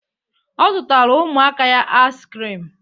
Ọ zụtara ụmụaka ya ais krim